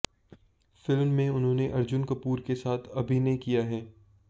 film में उन्होंने अर्जुन कपूर के साथ अभिनय किया है